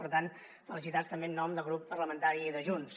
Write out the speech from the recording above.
per tant felicitats també en nom del grup parlamentari de junts